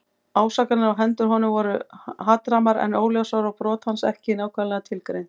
Ásakanirnar á hendur honum voru hatrammar en óljósar og brot hans ekki nákvæmlega tilgreind.